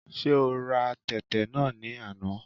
Ṣé ora tẹ̀tẹ̀ náà ní àná?